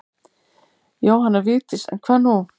Jóhanna Vigdís en hvað nú?